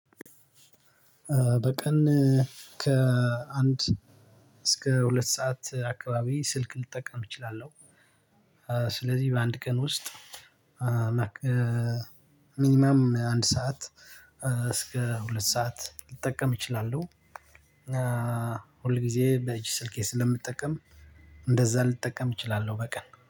በቀን ከአንድ እስከ ሁለት አካባቢ ስልክ ልጠቀም እችላለሁ። ስለዚህ በአንድ ቀን ውስጥ ሚኒመም አንድ ሰዓት እስከ ሁለት ሰዓት ልጠቀም እችላለሁ። ሁል ጊዜ በእጅ ስልኬ ስለምጠቀም እንደዛ ልጠቀም እችላለሁ በቀን